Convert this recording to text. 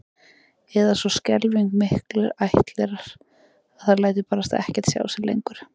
Eða svo skelfing miklir ættlerar að það lætur barasta ekkert sjá sig lengur